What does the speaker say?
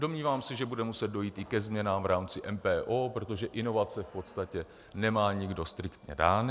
Domnívám se, že bude muset dojít i ke změnám v rámci MPO, protože inovace v podstatě nemá nikdo striktně dány.